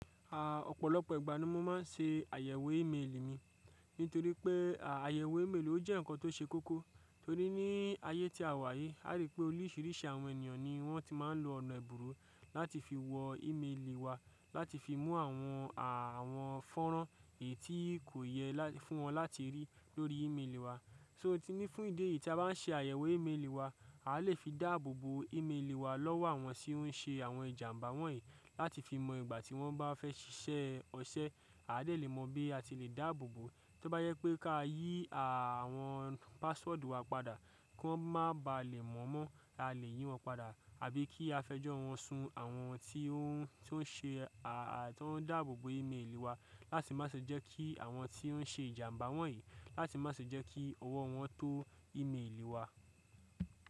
À ọ̀pọ̀lọpọ̀ ìgbà ni mo máa ń ṣe àyẹ̀wò ímélì mi. Nítorí pé áyẹ̀wò ímélì ló jẹ́ nǹkan tó ṣe kókó. Torí ní ayé tí a wà yìí, a rí pé oríṣìríṣì àwọn ènìyàn ni wọ́n ti máa ń lo ọ̀nà ẹ̀bùrú láti fi wọ ímélì wa, láti fi mú àwọn à àwọn fọ́nrán èyí tí kò yẹ fún wọn láti rí lórí ímélì wa. So tí ní fún ìdí èyí tí a bá n ṣe àyẹ̀wò ímélì wa, à lè fi dáàbòbò ímélì wa lọ́wọ́ àwọn tí ó ń ṣe àwọn ìjàǹbá wọ̀nyí láti fi mọ ìgbà tí wọ́n bá fẹ́ ṣiṣẹ́ ọṣẹ, a de lè mọ bí a ti le dáàbòbò, tí ó bá jẹ pé ká yí à àwọn password wa padà kí wọ́n má ba à lè mọ̀ mọ́, a lè yín wọn padà àbí kí a fẹjọ́ wọn sun àwọn tí ó ń ṣe à à tó ń dáàbòbò ímélì wa láti má ṣe jẹ́ kí àwọn tí ó ń ṣe ìjàǹbá wọ̀nyí, láti má ṣe jẹ́ kí ọwọ́ wọn tó ímélì wa.